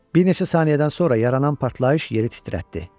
Bir neçə saniyədən sonra yaranan partlayış yeri titrətdi.